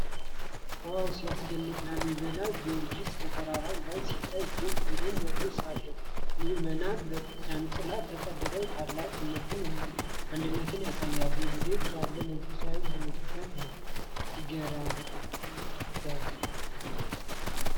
ዋው ሲያስደንቅ! ላሊበላ ቤተ ጊዮርጊስ ከተራራው ላይ ሲታይ እጅግ ግርማ ሞገስ አለው! ምዕመናን በዣንጥላ ተጠልለው ታላቅ እምነትና አንድነትን ያሳያሉ። እንዴት ያለ መንፈሳዊ ጉልበት ነው! ሲያረጋጋ!